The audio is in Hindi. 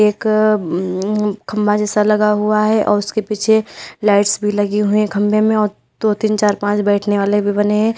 एक खंभा अंअं जैसा लगा हुआ है और उसके पीछे लाइट्स भी लगी हुई है खंबे में और दो तीन चार पांच बैठने वाले भी बने हैं।